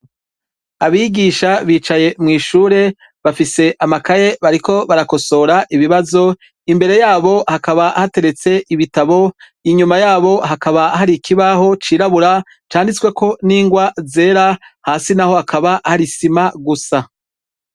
Abigisha bicaye mw’ishure bafise amakaye bariko barakosora ibibazo, imbere yabo hakaba hateretse ibitabo inyuma yabo hakaba hari ikibaho c’irabura canditsweko n’ingwa zera hasi naho hakaba hari isima gusa.